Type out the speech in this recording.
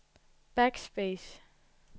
backspace